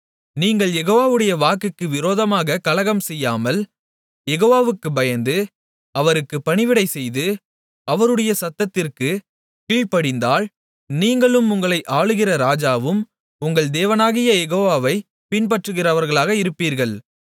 நீங்கள் யெகோவாவுடைய வாக்குக்கு விரோதமாகக் கலகம்செய்யாமல் யெகோவாவுக்குப் பயந்து அவருக்கு பணிவிடைசெய்து அவருடைய சத்தத்திற்குக் கீழ்ப்படிந்தால் நீங்களும் உங்களை ஆளுகிற ராஜாவும் உங்கள் தேவனாகிய யெகோவாவைப் பின்பற்றுகிறவர்களாக இருப்பீர்கள்